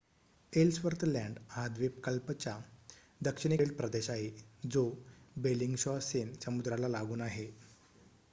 Ellsworth Land हा द्वीपकल्पच्या दक्षिणेकडील प्रदेश आहे जो बेलिंगशॉसेन समुद्राला लागून आहे